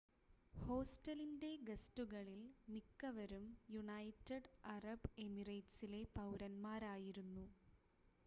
ഹോസ്റ്റലിൻ്റെ ഗസ്റ്റുകളിൽ മിക്കവരും United Arab എമിറേറ്റ്സിലെ പൗരന്മാരായിരുന്നു